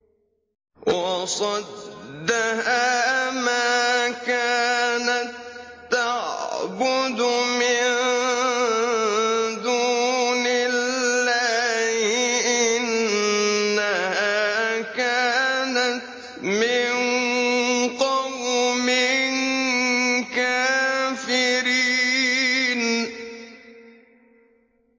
وَصَدَّهَا مَا كَانَت تَّعْبُدُ مِن دُونِ اللَّهِ ۖ إِنَّهَا كَانَتْ مِن قَوْمٍ كَافِرِينَ